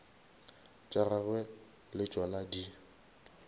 tša gagwe le tšona di